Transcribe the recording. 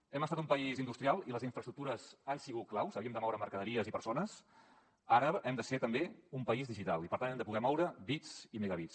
hem estat un país industrial i les infraestructures han sigut claus havíem de moure mercaderies i persones ara hem de ser també un país digital i per tant hem de poder moure bits i megabits